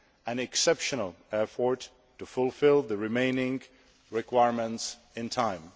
an exceptional effort to fulfil the remaining requirements in time.